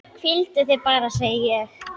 Hvíldu þig bara, segi ég.